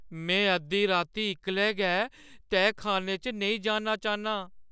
में अद्धी राती इक्कले गै तैह्‌खान्ने च नेईं जाना चाह्न्नां।